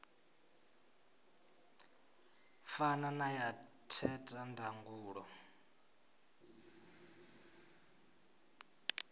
fana na ya theta ndangulo